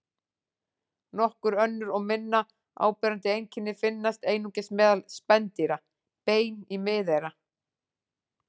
Nokkur önnur og minna áberandi einkenni finnast einungis meðal spendýra: Bein í miðeyra.